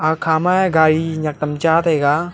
kha ma gari nek tam cha taiga.